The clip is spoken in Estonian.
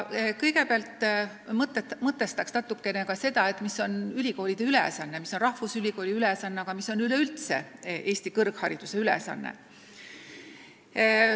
Kõigepealt mõtestaks natukene seda, mis on ülikoolide ülesanne, mis on rahvusülikooli ülesanne ja mis on üleüldse Eesti kõrghariduse ülesanne.